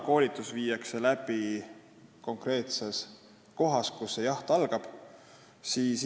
Koolitus viiakse läbi konkreetses kohas, kust jaht algab.